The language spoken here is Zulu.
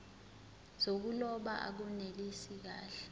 zokuloba akunelisi kahle